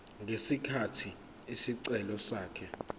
ngesikhathi isicelo sakhe